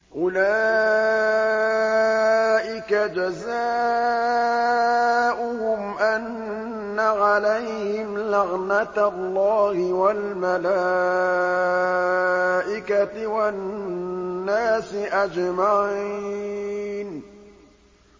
أُولَٰئِكَ جَزَاؤُهُمْ أَنَّ عَلَيْهِمْ لَعْنَةَ اللَّهِ وَالْمَلَائِكَةِ وَالنَّاسِ أَجْمَعِينَ